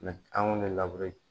anw bɛ